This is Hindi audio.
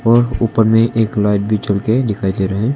ऊपर में एक लाइट भी जलके दिखाई दे रहे हैं।